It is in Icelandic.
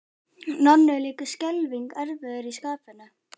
Nonni er líka skelfing erfiður í skapinu.